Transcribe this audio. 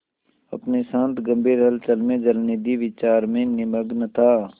अपनी शांत गंभीर हलचल में जलनिधि विचार में निमग्न था